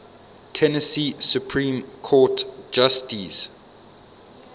tennessee supreme court justices